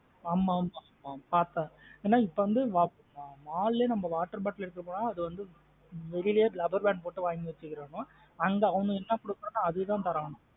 ஆமா ஆமா பாத்தேன் என இப்போ வந்து mall லே water bottle எடுத்துட்டு போனாலே அது வந்து வெளிய rubber band போட்டு வாங்கி வெச்சுகரன்கோ? அங்க அவனுங்க என்ன கொடுக்ரன்களோ அதான்தரங்கோ.